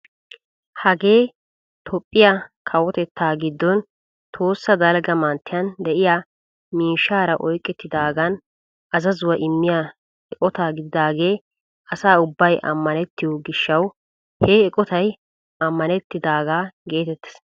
Hagee toophphiyaa kawotettaa giddon tohossa dalgga manttiyaan de'iyaa miishshaara oyqqetidaagan azazuwaa immiyaa eqotaa gididagee asa ubbay amanettiyoo giishshawu ha eqotay amanettidagaa getettees.